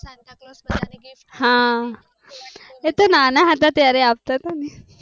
હા એતો નાના હતા ત્યારે આવતા હતા ને